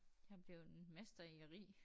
Jeg er bleven mester i at ri